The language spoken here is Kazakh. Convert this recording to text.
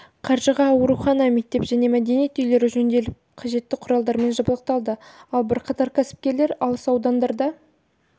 қаржыға аурухана мектеп және мәдениет үйлері жөнделіп қажетті құралдармен жабдықталды ал бірқатар кәсіпкерлер алыс аудандарда